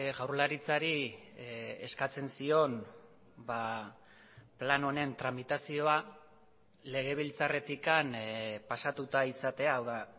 jaurlaritzari eskatzen zion plan honen tramitazioa legebiltzarretik pasatuta izatea hau da